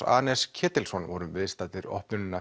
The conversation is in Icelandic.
anes Ketilsson vorum viðstaddir opnunina